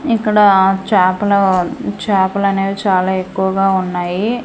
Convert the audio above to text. ఇక్కడా చాపలు చాపలనేవి చాలా ఎక్కువ గా ఉన్నాయి.